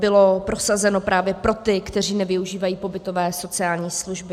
Bylo prosazeno právě pro ty, kteří nevyužívají pobytové sociální služby.